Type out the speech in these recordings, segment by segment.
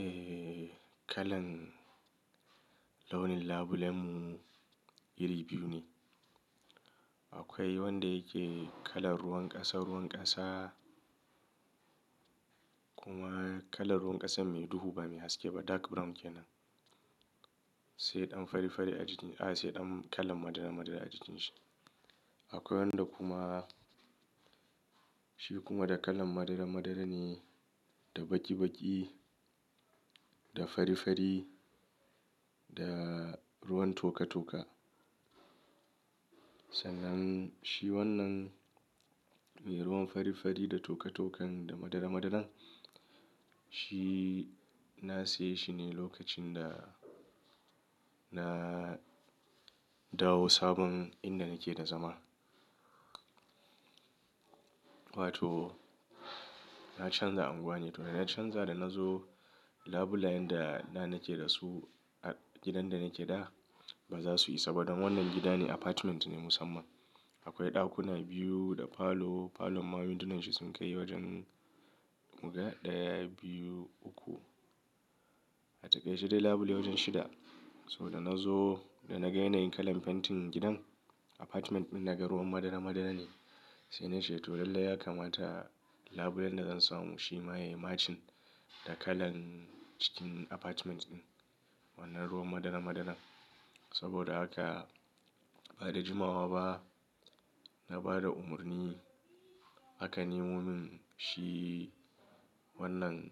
Eh, kalan launin labulenmu iri biyu ne. Akwai wanda yake kalan ruwan ƙasa, ruwan ƙasa kuma kalan ruwan ƙasan mai duhu ba mai haske ba, dark brown kenan, sai ɗan fari fari a jikin, a'a sai ɗan kalan madara madara a jikin shi. Akwai wanda kuma shi kuma da kalan madara-madara ne da baki-baki da fari-fari da ruwan toka-toka. Sannan shi wannan me ruwan fari fari da toka tokan da madara madaran. Shi na siye shi ne lokacin da na dawo sabon inda nake da zama. Wato na canza unguwa ne. To dana canza da na zo labulayen da da nake da su a gidan da nake da ba za su isa ba don wannan gida ne apartment ne musamman. Akwai ɗakuna biyu da falo, falon ma windunan shi sun kai wajen guda ɗaya, biyu, uku. A taƙaice dai labule wajen shida. To da na zo da na ga yanayin kalan fentin gidan apartment ɗin naga ruwan madara madara ne, sai na ce to lallai ya kamata labulen da zan samu shi ma ya yi matching da kalan cikin apartment ɗin wannan ruwan madara madaran. Saboda haka ba da jimawa ba na ba da umarni aka nemo min shi wannan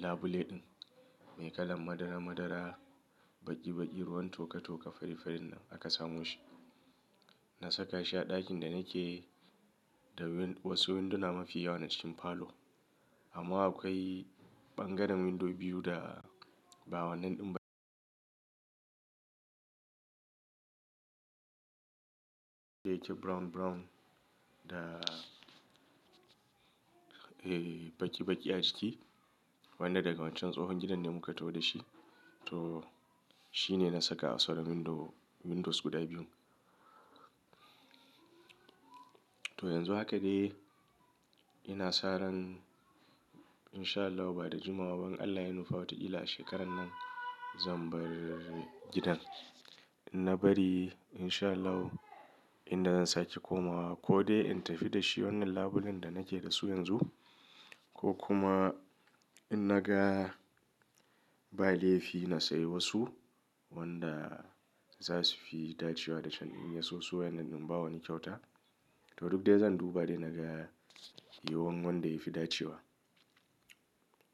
labule ɗin mai kalan madara madara baki baki ruwan toka toka fari farin nan aka samo shi. Na saka shi a ɗakin da nake da wasu winduna mafi yawa na cikin falo. Amma akwai bangaren window biyu da ba wannan ɗin da yake brown brown da, me baki baki a jiki. Wanda daga wancan tsohon gidan ne muka taho da shi. To shi ne na saka a sauran window, windows guda biyu. To yanzu haka dai ina saran in sha Allahu ba da jimawa ba in Allah ya nufa wata ƙila a shekaran nan zan bar gidan. In na bari in sha Allahu inda zan sake komawa ko dai in tafi da shi wannan labulen da nake da su yanzu ko kuma in naga ba laifi na sayi wasu wanda za su fi dacewa da can in yaso su wa'yannan ɗin in bawa wani kyauta. To duk dai zan duba dai na ga yiyu wan wanda ya fi dacewa.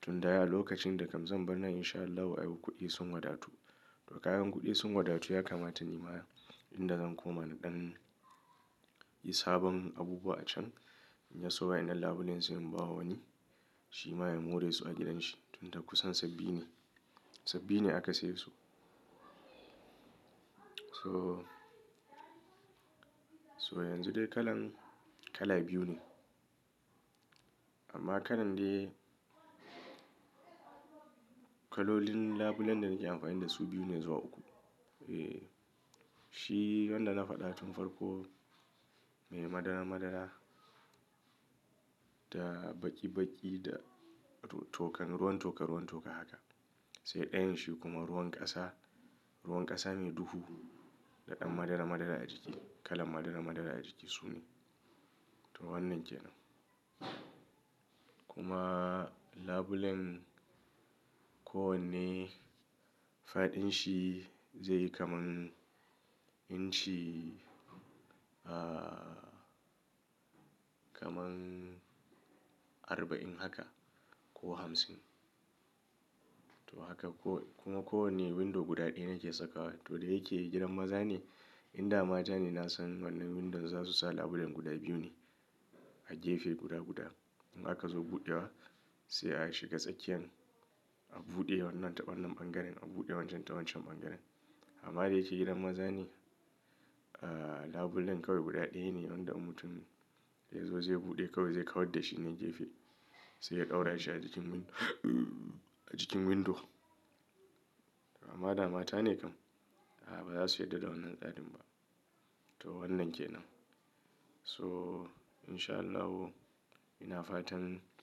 Tun da ai a lokacin da kam zan bar nan in sha Allahu ai kuɗi sun wadatu. To kaga in kuɗi sun wadatu ya kamata ni ma inda zan koma naɗan yi sabon abubuwa acan in yaso wa'yannan labulen su in bawa wani shi ma ya more su a gidan shi. Tun dai kusan sabbi ne, sabbi ne aka siye su. So, so yanzu dai kalan kala biyu ne. Amma kalan dai kalolin labulen da nake amfani da su biyu ne zuwa uku. Eh, shi wanda na faɗa tun farko mai madara madara da baki baki da tokan, ruwan toka ruwan toka haka. Sai ɗayan shi kuma ruwan ƙasa, ruwan ƙasa mai duhu da ɗan madara madara a jiki, kalan madara madara a jiki su ne. To wannan kenan. Kuma labulen ko wanne faɗin shi zai yi kaman inci, kaman arba'in haka ko hamsin. To haka ko kuma ko wanne window guda ɗaya na ke saka wa. To da yake gidan maza ne. In da mata ne na san wannan windon za su sa labulen guda biyu ne a gefe guda guda. In aka zo buɗewa sai a shiga tsakiyan a buɗe wannan ta wannan bangaren a buɗe wancan ta wancan bangaren. Amma da yake gidan maza ne, labulen kawai guda ɗaya ne wanda in mutum yazo zai buɗe kawai zai kawar dashi ne gefe sai ya ɗaura shi a jikin windo a jikin window. Amma da mata ne kam, ah ba za su yarda da wannan tsarin ba. To wannan kenan. So in sha Allahu ina fatan.